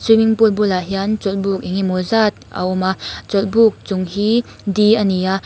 swimming pool bulah hian chawlhbuk engemaw zat a awm a chawlhbuk chung hi di ani a.